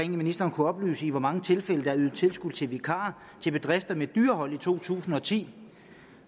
ministeren kunne oplyse i hvor mange tilfælde der været ydet tilskud til vikar til bedrifter med dyrehold i to tusind og ti